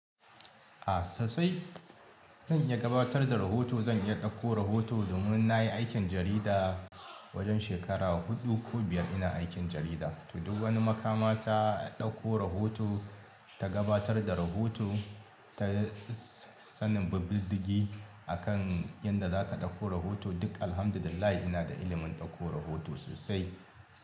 A sosai. Zan iya gabatar da rahoto, zan iya ɗauko rahoto domin na yi aikin jarida wajen shekara huɗu ko biyar ina aikin jarida. To duk wani makama ta ɗauko rahoto, ta gabatar da rahoto ta sanin bubbuldigi akan yanda zata ɗauko rahoto duk Alhamdulillah ina da ilimin ɗauko rahoto sosai.